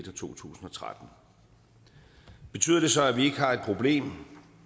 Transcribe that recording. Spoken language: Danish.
to tusind og tretten betyder det så at vi ikke har et problem